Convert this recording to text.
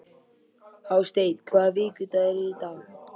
Hásteinn, hvaða vikudagur er í dag?